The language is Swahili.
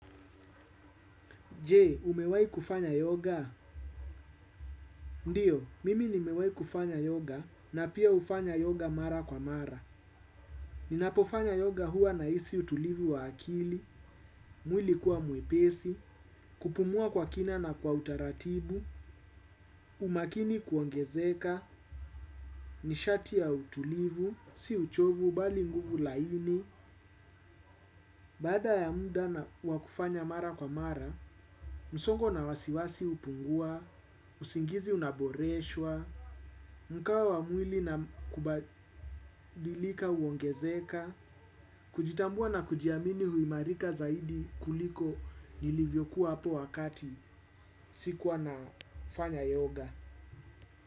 Jee, umewai kufanya yoga? Ndiyo, mimi nimewai kufanya yoga, na pia hufanya yoga mara kwa mara. Ninapofanya yoga hua nahisi utulivu wa akili, mwili kuwa mwepesi, kupumua kwa kina na kwa utaratibu, umakini kuongezeka, nishati ya utulivu, si uchovu, bali nguvu laini, baada ya muda na kufanya mara kwa mara, msongo na wasiwasi hupungua, usingizi unaboreshwa, mkawa wa mwili na kubadilika huongezeka. Kujitambua na kujiamini huimarika zaidi kuliko nilivyokuwa hapo wakati sikuwa na fanya yoga.